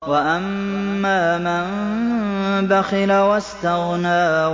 وَأَمَّا مَن بَخِلَ وَاسْتَغْنَىٰ